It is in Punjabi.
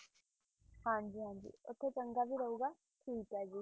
ਹਾਂਜੀ ਹਾਂਜੀ ਉੱਥੇ ਚੰਗਾ ਵੀ ਰਹੇਗਾ, ਠੀਕ ਆ ਜੀ।